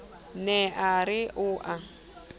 ne a re o a